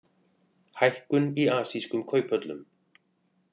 Hækkun í asískum kauphöllum